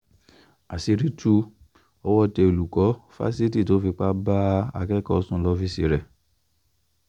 àṣírí tú owó tẹ olùkọ́ fásitì tó fipá bá akẹ́kọ̀ọ́ sùn lọ́fíìsì rẹ̀